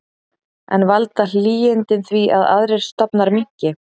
En valda hlýindin því að aðrir stofnar minnki?